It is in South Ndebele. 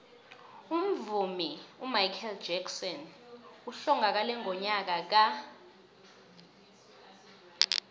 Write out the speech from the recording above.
umvumi umichael jackson uhlongakele ngonyaka ka